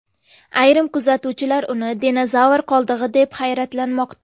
Ayrim kuzatuvchilar uni dinozavr qoldig‘i deb hayratlanmoqda.